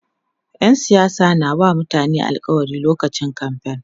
ƴan siyasa na wa mutane alkawali lokacin kamfain